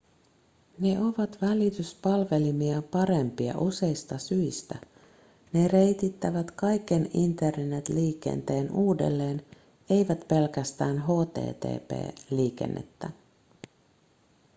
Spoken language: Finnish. ne ovat välityspalvelimia parempia useista syistä ne reitittävät kaiken internet-liikenteen uudelleen eivät pelkästään http-liikennettä